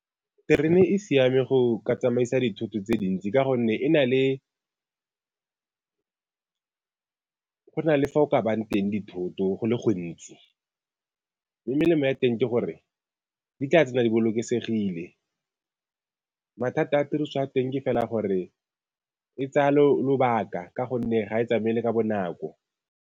Terene e siame go ka tsamaisa dithoto tse dintsi ka gonne e na le go na le fa o ka bang teng dithoto go le gontsi, mme melemo ya teng ke gore di tla tse ne di bolokesegile. Mathata a tiriso ya teng ke fela gore e tsaya lobaka ka gonne ga e tsamaele ka bonako.